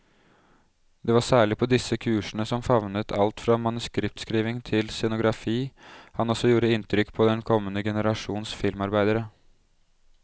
Det var særlig på disse kursene, som favnet alt fra manuskriptskriving til scenografi, han også gjorde inntrykk på den kommende generasjons filmarbeidere.